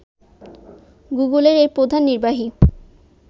গুগলের এই প্রধান নির্বাহী